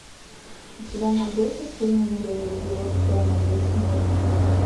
у тебя найдется фильм нуреев его сцена весь мир